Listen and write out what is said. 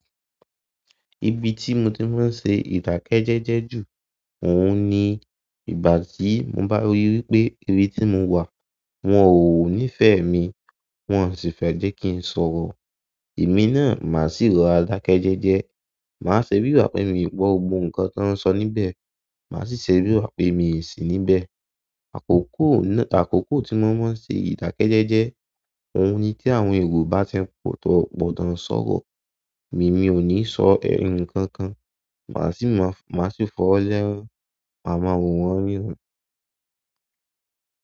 Ibi tí mo ti máa ń ṣe ìdákẹ́jẹ́jẹ́ jù, òun ni ìgbà tí mo bá ríi wípé ibi tí mo wà, wọn ò ní'fẹ mi, wọn sì fẹ́ jẹ́ kí ń sọ̀rọ̀. Emi náà, màá sì rọ̀ra dákẹ́jẹ́jẹ́. Màá ṣe bí ìgbà pé mi ò gbọ́ nkan tí wọ́n ń sọ níbẹ̀, màá sì ṣe bí ìgbà pé mi ò sí níbẹ̀. Àkókò náà, ti àkókò tí mo máa ń ṣe ìdákẹ́jẹ́jẹ́, òun ni tí àwọn èrò bá ti pòó ti won n sọ̀rọ̀, èmi ò ní sọ nkankan, màá sì máa, màá sì fi ọ́wo lẹ́rab, màá máa wò wọ́n níran.